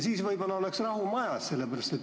Siis võib-olla oleks rahu majas.